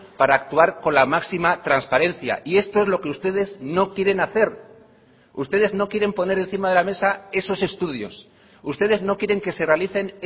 para actuar con la máxima transparencia y esto es lo que ustedes no quieren hacer ustedes no quieren poner encima de la mesa esos estudios ustedes no quieren que se realicen